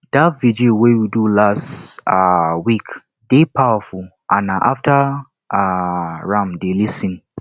dat vigil wey we do last um week dey powerful and na after um am dey lis ten